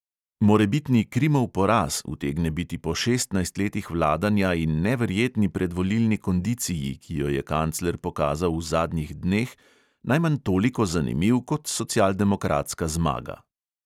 Morebitni krimov poraz utegne biti po šestnajst letih vladanja in neverjetni predvolilni kondiciji, ki jo je kancler pokazal v zadnjih dneh, najmanj toliko zanimiv kot socialdemokratska zmaga.